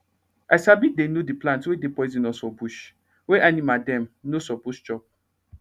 i sabi dey know d plant wey dey poisonous for bush wey animal dem nor suppose eat